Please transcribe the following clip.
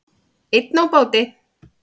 Ein á báti